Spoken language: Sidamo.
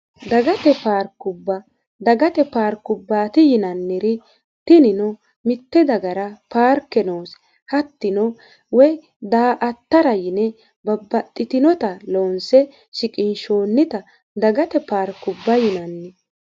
dagate parkubba dagate paarkubbaati yinanniri tinino mitte dagara paarke noose hattino woy daa"attara yine babbadhitinota loonse shiqinshoonnita dagate paarkubba yinanni